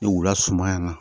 Ni wula suma yan nɔ